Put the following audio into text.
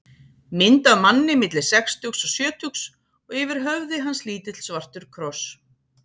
Mynd af manni milli sextugs og sjötugs og yfir höfði hans lítill svartur kross.